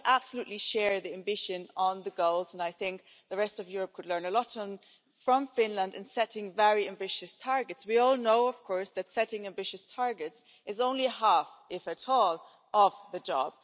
While we absolutely share the ambition on the goals and I think the rest of Europe could learn a lot from Finland in setting very ambitious targets we all know, of course, that setting ambitious targets is only half if that of the job.